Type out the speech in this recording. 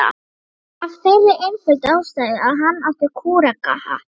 Af þeirri einföldu ástæðu að hann átti kúrekahatt.